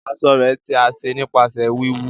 aṣọ rẹ̀ tí a ṣe nípasẹ wíwú.